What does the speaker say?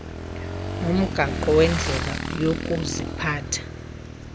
nomgaqo wendlela yokuziphatha